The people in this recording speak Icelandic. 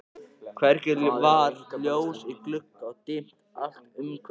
Hvergi var ljós í glugga og dimmt allt umhverfis.